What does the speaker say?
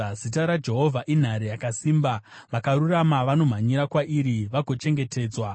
Zita raJehovha inhare yakasimba; vakarurama vanomhanyira kwariri vagochengetedzwa.